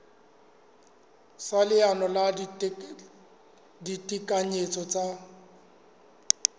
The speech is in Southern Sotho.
sa leano la ditekanyetso tsa